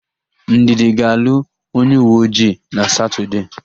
Ndidi ga-alụ onyeuweojii na Satọdee.